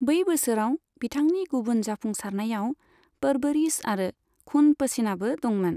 बै बोसोराव बिथांनि गुबुन जाफुंसारनायाव परवरिश आरो खून पसीनाबो दंमोन।